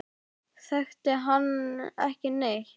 Þekkti hann ekki neitt.